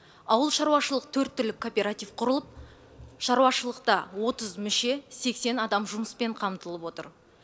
ауыл шаруашылық төрт түлік кооператив құрылып шарушылықта отыз мүше сексен адам жұмыспен қамтылып отыр